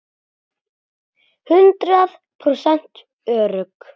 Hundrað prósent örugg!